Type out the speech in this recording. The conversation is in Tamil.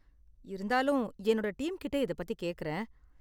இருந்தாலும் என்னுடைய டீம் கிட்ட இத பத்தி கேக்கறேன்.